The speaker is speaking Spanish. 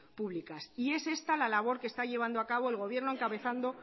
públicas y es esta la labor que está llevando a cabo el gobierno encabezado